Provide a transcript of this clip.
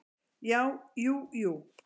Já, jú jú.